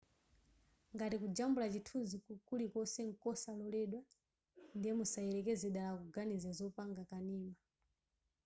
ngati kujambula chithunzi chilichonse nkosaloledwa ndiye musayelekeze dala kuganiza zopanga kanema